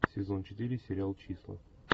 сезон четыре сериал числа